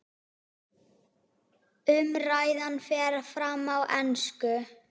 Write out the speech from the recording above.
Umræðan fer fram á ensku.